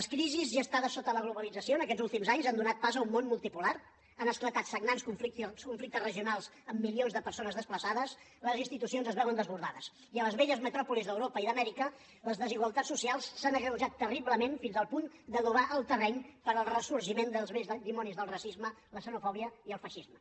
les crisis gestades sota la globalització en aquests últims anys han donat pas a un món multipolar han esclatat sagnants conflictes regionals amb milions de persones desplaçades les institucions es veuen desbordades i a les velles metròpolis d’europa i d’amèrica les desigualtats socials s’han agreujat terriblement fins al punt d’adobar el terreny per al ressorgiment dels vells dimonis del racisme la xenofòbia i el feixisme